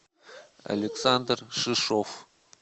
александр шишов